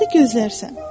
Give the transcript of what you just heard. Onda gözlərsən.